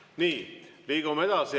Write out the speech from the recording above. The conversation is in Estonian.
Nii, liigume edasi.